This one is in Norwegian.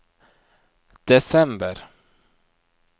desember